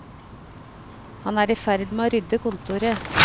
Han er i ferd med å rydde kontoret.